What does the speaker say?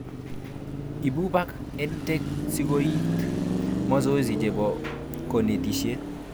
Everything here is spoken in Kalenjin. Ibu bak EdTech sikoet mazoezi chebo konetishet